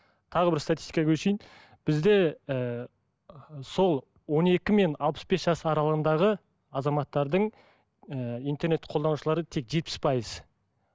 тағы бір статистикаға көшейін бізде ііі сол он екі мен алпыс бес жас аралығындағы азаматтардың ы интернет қолданушылары тек жетпіс пайыз